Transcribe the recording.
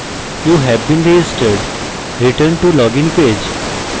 you have been registered return to login page